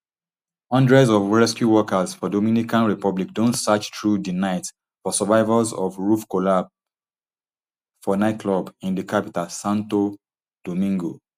hundreds of rescue workers for dominican republic don search through di night for survivors for roof collapse for one nightclub in di capital santo domingo